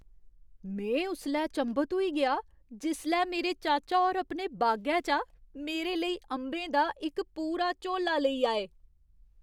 में उसलै चंभत होई गेआ जिसलै मेरे चाचा होर अपने बागै चा मेरे लेई अंबें दा इक पूरा झोला लेई आए।